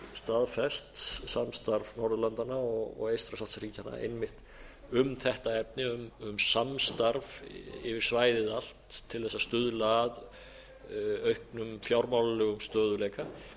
staðfest samstarf norðurlandanna og eystrasaltsríkjanna einmitt um þetta efni um samstarf yfir svæðið allt til þess að stuðla að auknum fjármálalegum stöðugleika